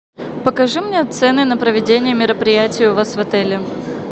покажи мне цены на проведение мероприятий у вас в отеле